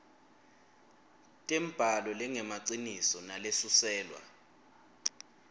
tembhalo lengemaciniso nalesuselwa